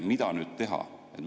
Mida nüüd teha?